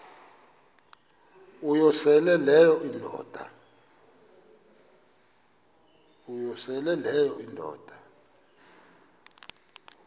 uyosele leyo indoda